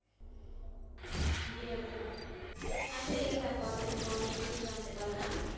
জি আপু, আচ্ছা ঠিক আছে আপনার থেকে অনেক কিছু জানতে পারলাম।